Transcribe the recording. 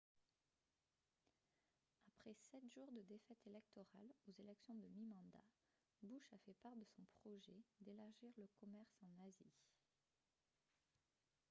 après sept jours de défaites électorales aux élections de mi-mandat bush a fait part de son projet d'élargir le commerce en asie